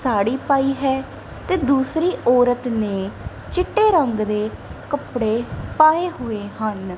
ਸਾੜੀ ਪਾਈ ਹੈ ਤੇ ਦੂਸਰੀ ਔਰਤ ਨੇਂ ਚਿੱਟੇ ਰੰਗ ਦੇ ਕੱਪੜੇ ਪਾਏ ਹੋਏ ਹਨ।